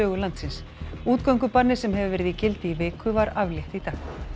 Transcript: landsins útgöngubanni sem hefur verið í gildi í viku var aflétt í dag